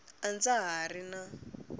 a ndza ha ri na